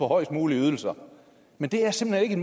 højest mulige ydelser men det er simpelt